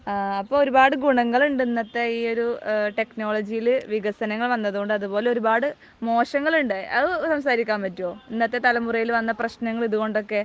അപ്പോൾ ഒരുപാട് ഗുണങ്ങളുണ്ട് ഇന്നത്തെ ഈ ഒരു വികസനങ്ങൾ വന്നതുകൊണ്ട്. അതുകൊണ്ട് അതുപോലെ ഒരുപാട് മോശങ്ങളുണ്ട്. അത് സംസാരിക്കാൻ പറ്റുമോ? ഇന്നത്തെ തലമുറയിൽ വന്ന പ്രശ്നങ്ങൾ, ഇതുകൊണ്ടൊക്കെ?